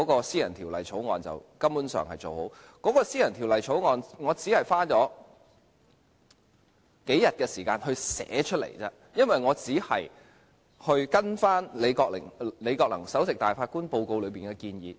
私人條例草案很快做好，我只花了數天時間撰寫，因為我只是根據前首席大法官李國能報告內的建議來寫。